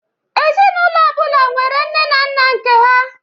Ezinaụlọ ọbụla nwere nne na nna nke ha